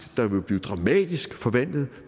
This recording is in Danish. der vil blive dramatisk forvandlet